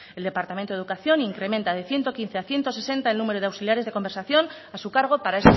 el departamento de educación incrementa de ciento quince a ciento sesenta el número de auxiliares de conservación a su cargo para